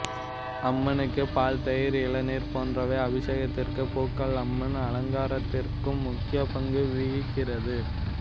அம்மனுக்கு பால்தயிர் இளநீர் போன்றவை அபிஷேகத்திற்கும் பூக்கள் அம்மன் அலங்காரத்திற்கும் முக்கிய பங்கு வகிக்கிறது